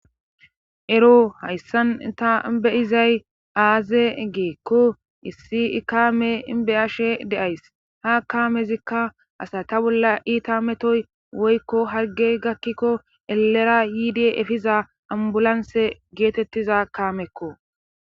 ero hayssan ta bi'zay aazee giikko issi ikame be'ashe de'ays ha kaamezikka asa ta bolla iita metoy woykko hargey gakkikko elera yiide efiza a'mbulanse geetettiza kaamekko